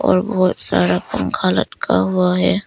और बहोत सारा पंखा लटका हुआ है।